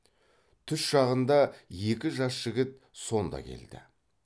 түс шағында екі жас жігіт сонда келді